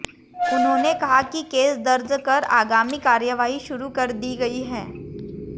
उन्होंने कहा कि केस दर्ज कर आगामी कार्रवाई शुरू कर दी गई है